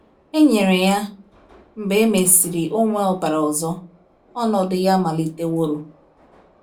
E nyere ya, mgbe e mesịrị o were ọbara ọzọ, ọnọdụ ya meliteworo.